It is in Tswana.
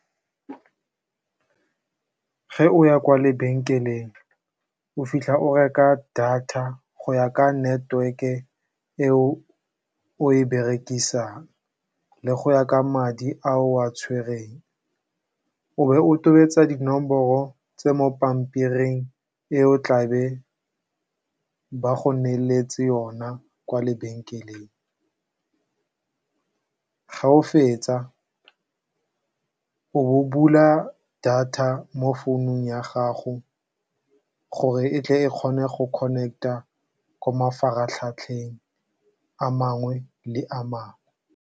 Fa o ya kwa lebenkeleng o fitlha o reka data go ya ka network eo o e berekisang le go ya ka madi a o a tshwereng, o be o tobetsa dinomoro tse di mo pampiring e o tlabeng ba go neetse yona kwa lebenkeleng. Fa o fetsa o bo o bula data mo founung ya gago gore e tle e kgone go connect-a ko mafaratlhatlheng a mangwe le a mangwe.